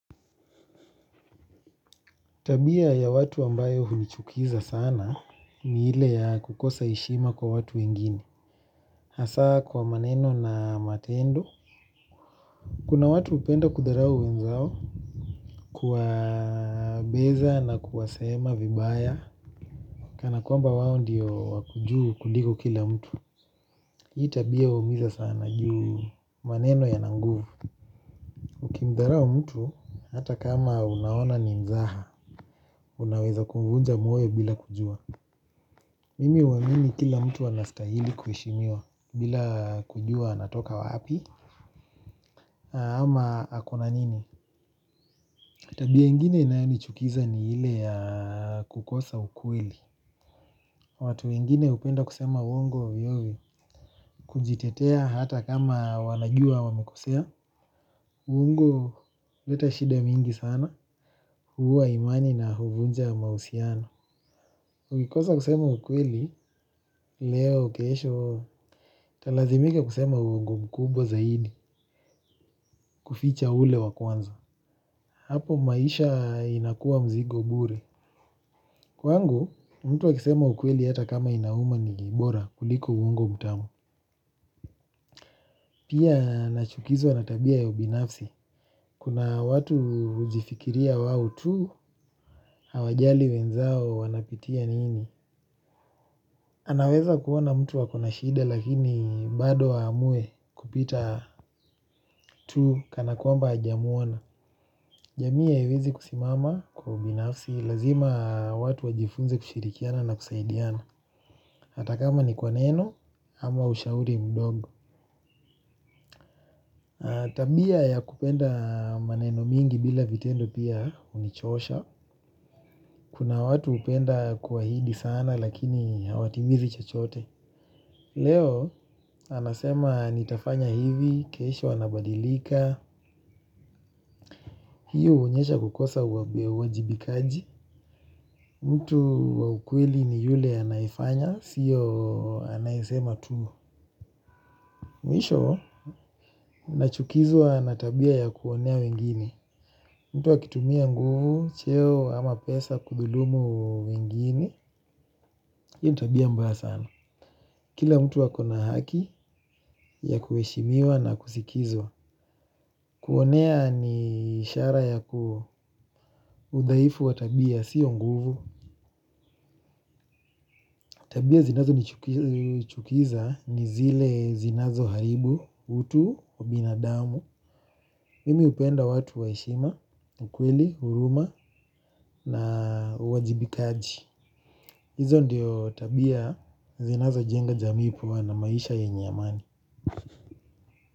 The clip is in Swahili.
Tabia ya watu ambayo hunichukiza sana ni ile ya kukosa heshima kwa watu wengine. Hasa kwa maneno na matendo. Kuna watu hupenda kudharau wenzao kuwabeza na kuwasema vibaya. Kana kwamba wao ndiyo wako juu kuligo kila mtu. Hii tabia uumiza sana juu maneno yana nguvu. Ukimdharau mtu hata kama unaona ni mzaha unaweza kumvunja moyo bila kujua. Mimi huamini kila mtu anastahili kuheshimiwa bila kujua anatoka wapi ama ako na nini? Tabia ingine inayonichukiza ni ile ya kukosa ukweli. Watu wengine hupenda kusema uongo ovyo ovyo kujitetea hata kama wanajua wamekosea. Uongo uleta shida mingi sana huua imani na huvunja mausiano. Ukikosa kusema ukweli leo kesho utalazimika kusema uongo mkubwa zaidi. Kuficha ule wa kwanza. Hapo maisha inakua mzigo bure. Kwangu mtu akisema ukweli ata kama inauma ni bora kuliko uwongo mutamu. Pia nachukizwa na tabia ya ubinafsi. Kuna watu ujifikiria wao tu hawajali wenzao wanapitia nini. Anaweza kuona mtu ako na shida lakini bado aamue kupita tu kana kwamba hajamuana. Jamii ya haiwezi kusimama kwa ubinafsi. Lazima watu wajifunze kushirikiana na kusaidiana. Ata kama ni kwa neno ama ushauri mdogo. Tabia ya kupenda maneno mingi bila vitendo pia unichosha. Kuna watu upenda kuahidi sana lakini hawatimizi chachote. Leo anasema nitafanya hivi, kesho anabadilika. Hii huonyesha kukosa uwajibikaji. Mtu wa ukweli ni yule anayefanya, siyo anayesema tuu. Mwisho, nachukizwa na tabia ya kuonea wengine. Mtu akitumia nguvu, cheo ama pesa, kudhulumu wengine. Iyo ni tabia mbaya sana. Kila mtu ako na haki ya kueshimiwa na kusikizwa. Kuonea ni ishara ya kudhaifu wa tabia, sio nguvu. Tabia zinazonichukiza ni zile zinazoharibu, utu, ubinadamu. Mimi upenda watu wa heshima, ukweli, huruma na uwajibikaji. Hizo ndiyo tabia zinazojenga jamii kuwa na maisha yenye amani.